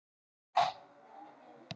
Ís streymir úr hverjum dalli